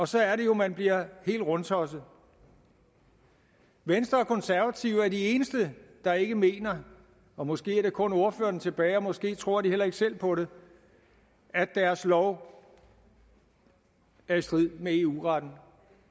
så er det jo man bliver helt rundtosset venstre og konservative er de eneste der ikke mener måske er der kun ordførerne tilbage og måske tror de heller ikke selv på det at deres lov er i strid med eu retten